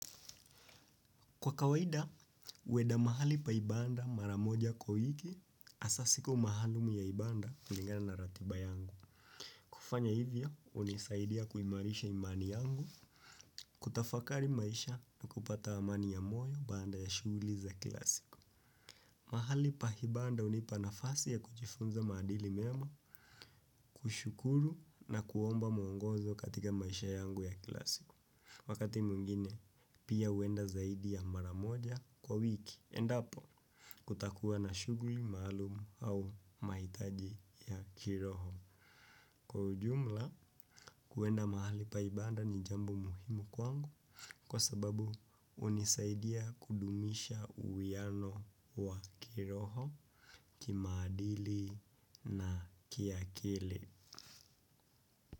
Kwa kawaida, huenda mahali pa ibada mara moja kwa wiki, hasa siku maalum ya ibada kulingana na ratiba yangu. Kufanya hivyo, hunisaidia kuimarisha imani yangu, kutafakari maisha na kupata amani ya moyo baada ya shughuli za kila siku. Mahali pa ibada hunipa nafasi ya kujifunza maadili mema, kushukuru na kuomba mwongozo katika maisha yangu ya kila siku. Wakati mwingine pia huenda zaidi ya mara moja kwa wiki endapo kutakuwa na shughuli maalum au mahitaji ya kiroho. Kwa ujumla, kuenda mahali pa ibada ni jambo muhimu kwangu kwa sababu hunisaidia kudumisha uwiano wa kiroho kimaadili na kiakili.